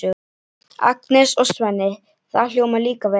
Agnes og Svenni, það hljómar líka vel.